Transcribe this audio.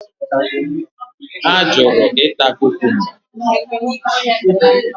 Ha jụrụ ịta kukumba.